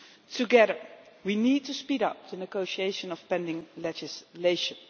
do. Together we need to speed up the negotiation of pending legislation.